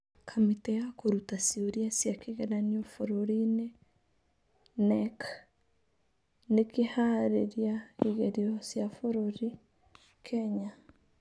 Kamĩtĩ ya Kũruta Ciũria cia kĩgeranio Bũrũri-ini (KNEC) nĩ kĩhaarĩria igerio cia bũrũri: Kenya